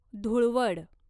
धुळवड